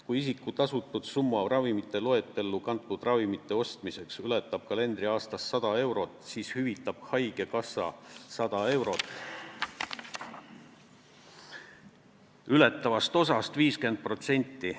Kui isiku tasutud summa ravimite loetellu kantud ravimite ostmiseks ületab kalendriaastas 100 eurot, siis hüvitab haigekassa 100 eurot ületavast osast 50 protsenti.